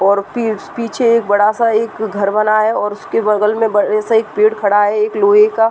और पिचपीछे एक बड़ा सा एक घर बना है और उसके बगल में बड़े सा एक पेड़ खड़ा है। एक लोहे का --